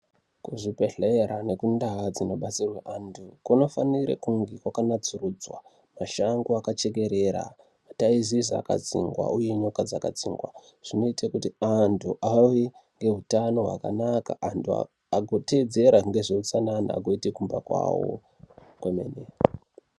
Kuzvibhedhleya nekundau dzinobatsirwe antu kunofanire kunge kwakanatsurudzwa, mashango akachekerera mataizizi akadzingwa uye nyoka dzakadzingwa zvinoite kuti antu auye ngehutano hwakanaka antu agoteedzera ngezveutsanana nekumba kwawo kwemene.